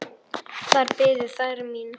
Þar biðu þær mín.